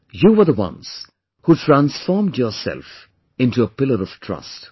You were the ones who transformed yourself into a pillar of trust